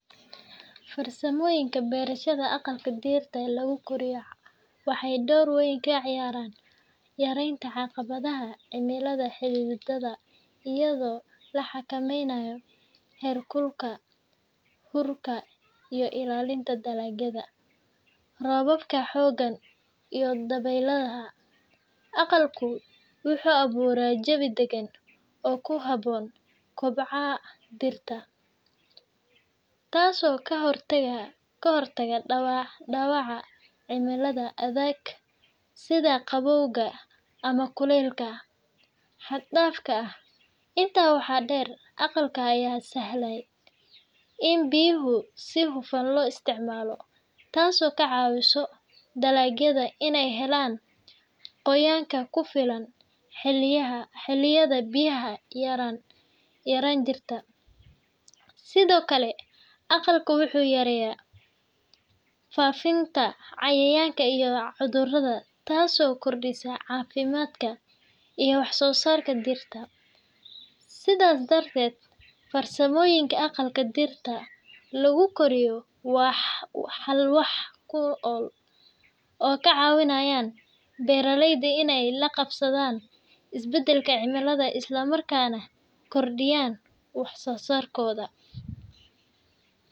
Farsamooyinka beerashada aqalka dhirta lagu koriya waxay door weyn ka ciyaaraan yaraynta caqabadaha cimilada xidhxidhan iyadoo la xakameynayo heerkulka, huurka, iyo ilaalinta dalagyada roobabka xooggan iyo dabaylaha. Aqalku wuxuu abuuraa jawi deggan oo ku habboon kobaca dhirta, taasoo ka hortagta dhaawaca cimilada adag sida qabowga ama kulaylka xad-dhaafka ah. Intaa waxaa dheer, aqalka ayaa sahlaya in biyaha si hufan loo isticmaalo, taasoo ka caawisa dalagyada inay helaan qoyaanka ku filan xilliyada biyo yaraan jirta. Sidoo kale, aqalka wuxuu yareeyaa faafitaanka cayayaanka iyo cudurrada, taasoo kordhisa caafimaadka iyo wax-soo-saarka dhirta. Sidaas darteed, farsamooyinka aqalka dhirta lagu koriya waa xal wax ku ool ah oo ka caawiya beeralayda inay la qabsadaan isbeddelaka cimilada isla markaana kordhiyaan wax soo saarkooda.